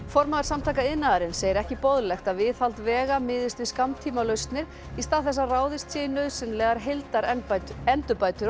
formaður Samtaka iðnaðarins segir ekki boðlegt að viðhald vega miðist við skammtímalausnir í stað þess að ráðist sé í nauðsynlegar